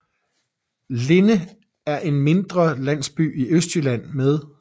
Linde er en mindre landsby i Østjylland med